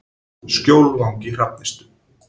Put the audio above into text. Skjólvangi Hrafnistu